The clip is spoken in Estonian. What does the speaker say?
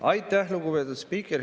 Aitäh, lugupeetud spiiker!